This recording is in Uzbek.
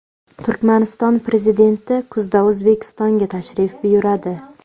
Turkmaniston Prezidenti kuzda O‘zbekistonga tashrif buyuradi.